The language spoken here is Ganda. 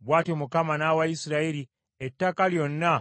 Bw’atyo Mukama n’awa Isirayiri ettaka lyonna